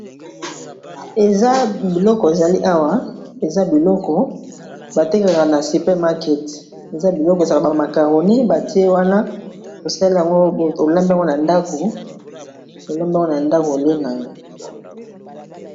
Eza biloko ezali awa eza biloko batekelaka na super market eza biloko eza ba macaronie batie wana osali yango olambi yango na ndako olie na yo.